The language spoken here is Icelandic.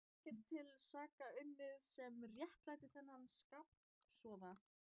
Hafði ekkert til saka unnið sem réttlætti þennan skapofsa.